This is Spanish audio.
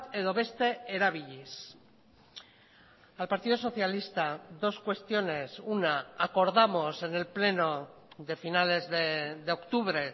edo beste erabiliz al partido socialista dos cuestiones una acordamos en el pleno de finales de octubre